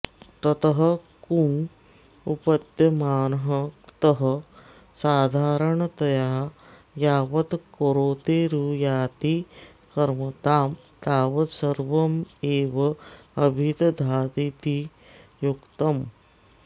ततः कृञ उत्पद्यमानः क्तः साधारणतया यावत् करोतेरुयाति कर्मतां तावत् सर्वमेवाभिदधातीति युक्तम्